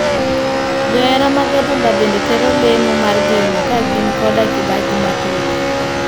Johera mag adhula bende tero lemo mar geno ka gin koda kibaji mathoth.